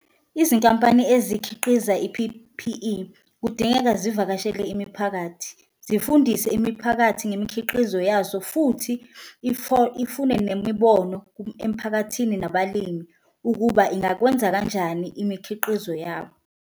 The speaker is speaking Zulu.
Izinkampani ezikhiqiza i-P_P_E kudingeka zivakashele imiphakathi, zifundise imiphakathi ngemikhiqizo yazo futhi ifune nemibono emphakathini nabalimi, ukuba ingakwenza kanjani imikhiqizo yabo.